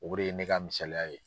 O de ye ne ka misaliya ye.